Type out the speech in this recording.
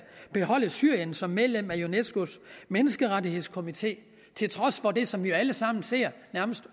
beholde syrien som medlem af unescos menneskerettighedskomité til trods for det som vi jo alle sammen ser